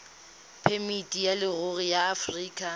phemiti ya leruri ya aforika